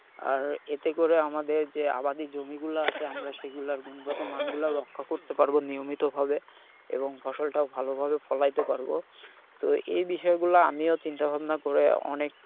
আর এতে করে আমাদের যে আবাদী জমিগুলো আছে আমরা সেগুলার গুণগত মানগুলা রক্ষা করতে পারবো নিয়মিতভাবে এবং ফসলটাও ভালো ভাবে ফলাইতে পারবো। তো এই বিষয়গুলো আমিও চিন্তাভাবনা করে অনেক,